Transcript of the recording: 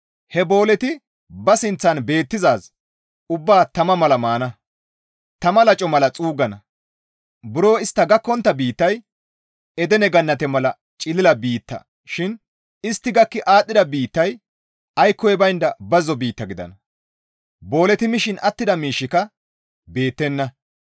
He booleti ba sinththan beettidaazi ubbaa tama mala maana; tama laco mala xuuggana; buro istta gakkontta biittay Edene gannate mala cilila biitta shin istti gakki aadhdhida biittay aykkoy baynda bazzo biitta gidana; booleti mishin attida miishshika beettenna.